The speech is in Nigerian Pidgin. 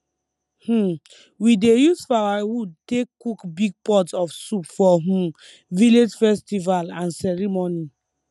um we dey use firewood take cook big pot of soup for um village festival and ceremony